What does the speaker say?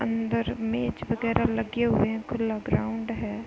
अंदर मेज वगैरा लगे हुए हैं। खुला ग्राउंड है।